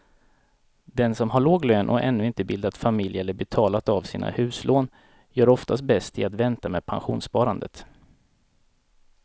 Den som har låg lön och ännu inte bildat familj eller betalat av sina huslån gör oftast bäst i att vänta med pensionssparandet.